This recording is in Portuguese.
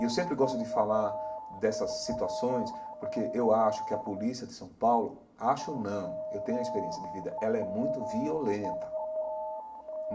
E eu sempre gosto de falar dessas situações porque eu acho que a polícia de São Paulo, acho não, eu tenho a experiência de vida, ela é muito violenta.